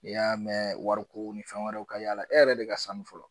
N'i y'a mɛn wariko ni fɛn wɛrɛw ka y'a la e yɛrɛ de ka sanu fɔlɔ.